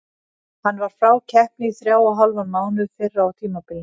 Hann var frá keppni í þrjá og hálfan mánuð fyrr á tímabilinu.